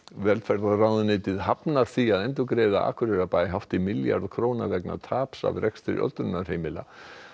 velferðarráðuneytið hafnar því að endurgreiða Akureyrarbæ hátt í milljarð króna vegna taps af rekstri öldrunarheimila